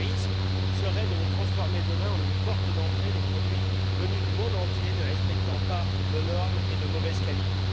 Le risque serait de le transformer demain en une porte d'entrée des produits venus du monde entier ne respectant pas nos normes et de mauvaise qualité.